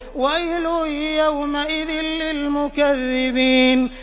وَيْلٌ يَوْمَئِذٍ لِّلْمُكَذِّبِينَ